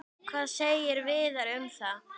Hvað segir Viðar um það?